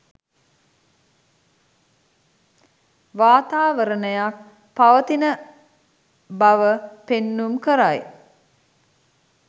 වාතාවරණයක් පවතින බව පෙන්නුම් කරයි.